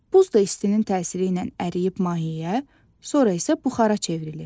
Buz da istinin təsiri ilə əriyib mayeyə, sonra isə buxara çevrilir.